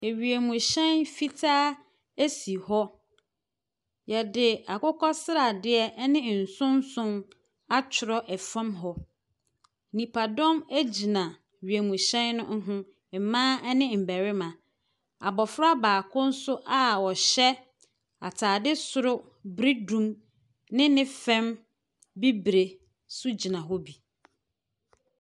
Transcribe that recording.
Ewiemhyɛn fitaa si hɔ. Wɔde akokɔ sradeɛ ne nson nson atwerɛ fam hɔ. Nnipadɔm gyina wiemhyɛn no ho. Mmaa ne mmarima. Abɔfra baako nso a ɔhyɛ atade soro biridum ne ne fam bibire nso gyina hɔ bi.